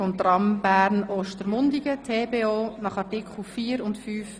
Wir kommen zu Traktandum 29, dem Kantonsbeitrag BERNMOBIL.